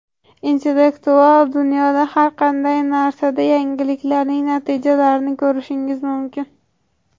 Intellektual dunyoda har qanday narsada yangiliklarning natijalarini ko‘rishingiz mumkin.